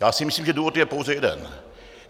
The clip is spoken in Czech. Já si myslím, že důvod je pouze jeden.